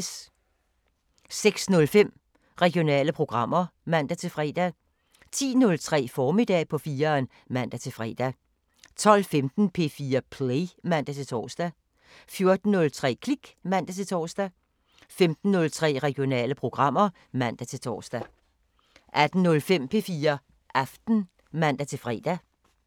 06:05: Regionale programmer (man-fre) 10:03: Formiddag på 4'eren (man-fre) 12:15: P4 Play (man-tor) 14:03: Klik (man-tor) 15:03: Regionale programmer (man-tor) 18:05: P4 Aften (man-fre)